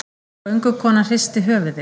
Göngukonan hristi höfuðið.